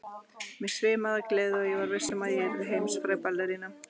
Mig svimaði af gleði og ég var viss um að ég yrði heimsfræg ballerína.